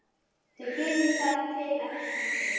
Hún ólst upp hjá ættingjum sínum á Gjögri.